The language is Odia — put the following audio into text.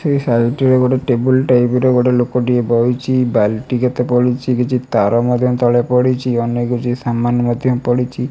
ଏହି ସାଇଟ ରେ ଗୋଟେ ଟେବୁଲ ଟାଇପ୍ ର ଗୋଟେ ଲୋକଟିଏ ବଇଚି ବାଲ୍ଟି କେତେ ପଡ଼ିଚି କିଛି ତାର ମଧ୍ୟ ତଳେ ପଡ଼ିଚି ଅନେକ ଗୁରିଏ ସାମାନ ମଧ୍ୟ ପଡ଼ିଚି।